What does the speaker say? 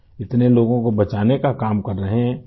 اتنے لوگوں کو بچانے کا کام کر رہے ہیں